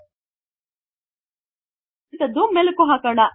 ನಾವು ಇವತ್ತು ಕಲಿತ್ತದ್ದು ಮೆಲಕು ಹಾಕೋಣ